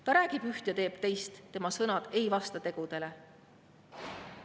Ta räägib üht ja teeb teist, tema sõnad ei vasta tegudele.